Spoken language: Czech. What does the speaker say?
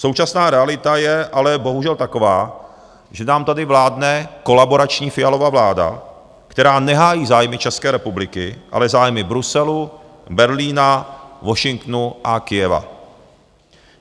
Současná realita je ale bohužel taková, že nám tady vládne kolaborační Fialova vláda, která nehájí zájmy České republiky, ale zájmy Bruselu, Berlína, Washingtonu a Kyjeva.